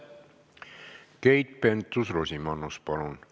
Keit Pentus-Rosimannus, palun!